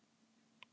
Þar segir að hið